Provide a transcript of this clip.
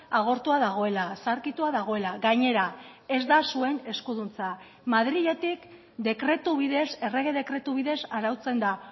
agortua dagoela zaharkitua dagoela gainera ez da zuen eskuduntza madriletik dekretu bidez errege dekretu bidez arautzen da